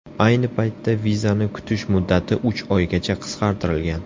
Ayni paytda vizani kutish muddati uch oygacha qisqartirilgan.